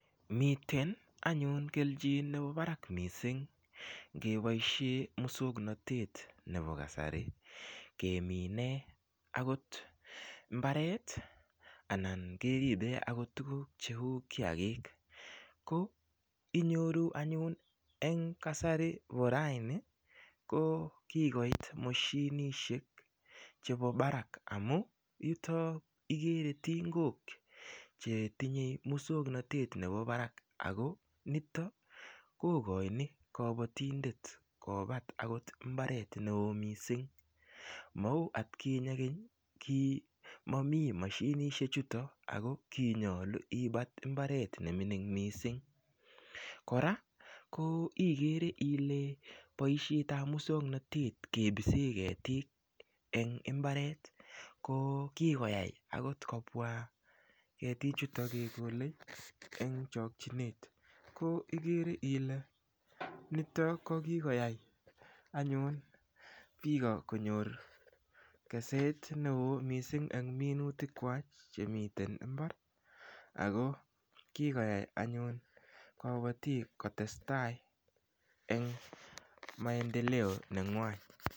Miten anyun kelchin nebo barak missing keboishe muswongnotet nebo kasari keminei akot mbaret anan keribei akot tukuk cheu kiakik ko inyoru anyun eng kasari bo raini ko kikoit moshinishek chebo barak amu nito ikere tingok chetinyei muswongnotet nebo barak ako nito kokoini kobotindet kobat akot mbaret neo mising mau atkinye keny ki mamii mashinishek chuto ako ki nyolu ibat mbaret nemining mising kora ko ikere ile boishet ap muswongnotet kebise ketik eng imbaret ko kikoyai akot kobwa ketichuta kekole eng chokchinet ko ikere ile nitok ko kikoyai anyun biko konyor keset neo mising eng minutik kwach chemiten mbar ako kikoyai anyun kobotik kotesetai eng maendeleo nengwany.